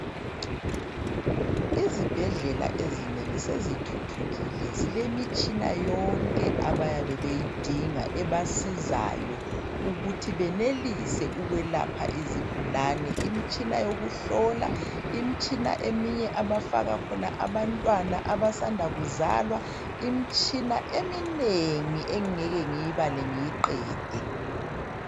Izibhedlela ezinengi sezithuthukile zilemitshina yonke abayabe beyidinga ebasizayo ukuthi benelise ukwelapha izigulane, imitshina yokuhlola, imitshina eminye abafaka khona abantwana abasanda kuzalwa, imitshina eminengi engingeke ngiyibale ngiyiqede.